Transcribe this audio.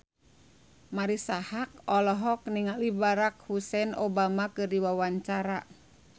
Marisa Haque olohok ningali Barack Hussein Obama keur diwawancara